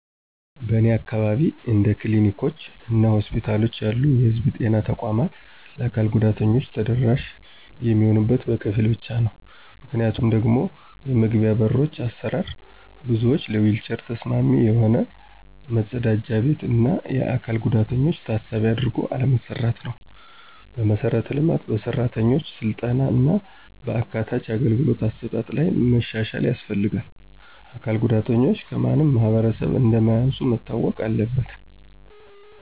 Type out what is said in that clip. በእኔ አካባቢ እንደ ክሊኒኮች እና ሆስፒታሎች ያሉ የህዝብ ጤና ተቋማት ለአካል ጉዳተኞች ተደራሽ የሚሆኑት በከፊል ብቻ ነው። ምክንያቱም ደግሞ የመግቢያዎ በሮች አሰራር፣ ብዙዎች ለዊልቸር ተስማሚ የሆነ፣ መጸዳጃ ቤት፣ እና የአካል ጉዳተኞችን ታሳቢ አድርጎ አለመሰራትነው። በመሠረተ ልማት፣ በሠራተኞች ሥልጠና እና በአካታች አገልግሎት አሰጣጥ ላይ መሻሻያ ያስፈልጋል። አካል ጉዳተኞች ከማንም ማህበረሰብ እንማያንሱ መታወቅ አለበት።